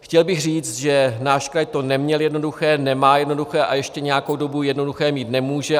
Chtěl bych říct, že náš kraj to neměl jednoduché, nemá jednoduché a ještě nějakou dobu jednoduché mít nemůže.